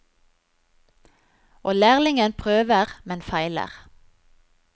Og lærlingen prøver, men feiler.